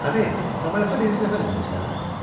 "Əmi, samalyota birinci dəfədir minirsən?"